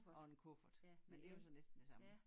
Og en kuffert men dte jo så næsten det samme